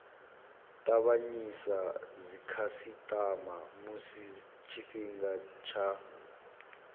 tavhanyisa dzikhasitama musi tshifhinga tsha